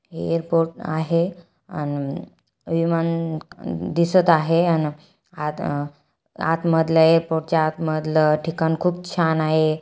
हे एयरपोर्ट आहे अन विमान दिसत आहे अन आत अ आत मधल एक खुर्ची आत मधल ठिकाण खूप छान आहे.